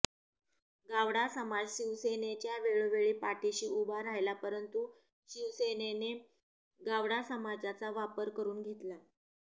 गावडा समाज शिवसेनेच्या वेळोवेळी पाठीशी उभा राहिला परंतू शिवसेनेने गावडा समाजाचा वापर करून घेतला